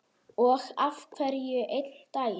Þar biðu Magga og Kata.